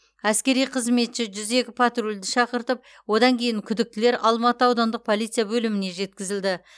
әскери қызметші жүз екі патрульді шақыртып одан кейін күдіктілер алматы аудандық полиция бөліміне жеткізілді